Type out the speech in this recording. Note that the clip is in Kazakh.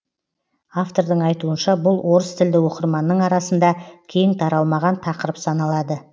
автордың айтуынша бұл орыстілді оқырманның арасында кең таралмаған тақырып саналады